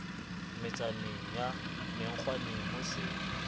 motsaneng wa menkgwaneng ho se